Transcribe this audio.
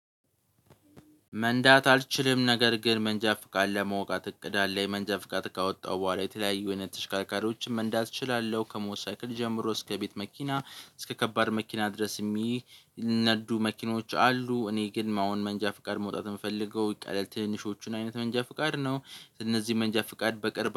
መንዳት አልችልም ነገር ግን መንጃፍ ቃል ለመውጣት እቅድ አለኝ። የመንጃፍ ቃል ካወጣው በኋላ የተለያዩ አይነት ተሽካርካሪዎችም መንዳት እችላለሁ። ከሞተር ሳይክል ጀምሮ እስከ ቤት መኪና እስከ ከባድ መኪና ድረስ የሚነዱ መኪኖች አሉ። እኔ ግን አሁን መንጃ ፍቃድ መውጣት የምፈልገው ትንሾቹን አይነት መንጃ ፍቃድ ነው እነዚህ መንጃ ፍቃድ በቅርብ